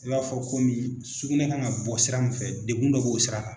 I b'a fɔ komi sugunɛ kan ka bɔ sira min fɛ degun dɔ b'o sira kan